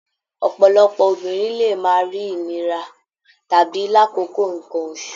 Ọ̀pọ̀lọpọ̀ obìnrin lè máa rí ìnira tàbí lákòókò nǹkan oṣù